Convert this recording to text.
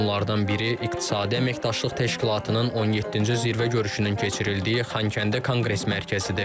Bunlardan biri İqtisadi Əməkdaşlıq Təşkilatının 17-ci Zirvə görüşünün keçirildiyi Xankəndi Konqres Mərkəzidir.